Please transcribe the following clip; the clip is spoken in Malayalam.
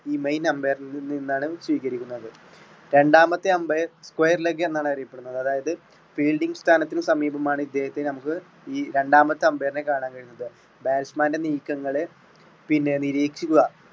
ഈ main umpire ൽ നിന്നാണ് സ്വീകരിക്കുന്നത്. രണ്ടാമത്തെ umpire square - leg എന്നാണ് അറിയപ്പെടുന്നത് അതായത് fielding സ്ഥാനത്തിന് സമീപമാണ് ഇദ്ദേഹത്തെ നമ്മുക്ക് ഈ രണ്ടാമത്തെ umpire നെ കാണാൻ കഴിയുക batsman ൻറെ നീക്കങ്ങളെ പിന്നെ നിരീക്ഷിക്കുക.